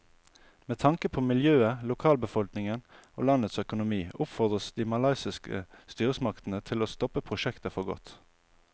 Med tanke på miljøet, lokalbefolkningen og landets økonomi oppfordres de malaysiske styresmaktene til å stoppe prosjektet for godt.